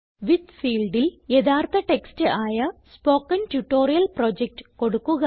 വിത്ത് ഫീൽഡിൽ യഥാർത്ഥ ടെക്സ്റ്റ് ആയ സ്പോക്കൻ ട്യൂട്ടോറിയൽ പ്രൊജക്ട് കൊടുക്കുക